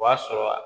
O b'a sɔrɔ a